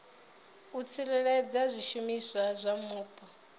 u tsireledza zwishumiswa zwa mupo